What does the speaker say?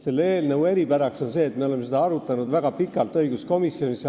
Selle eelnõu eripära on see, et me oleme seda õiguskomisjonis väga pikalt arutanud.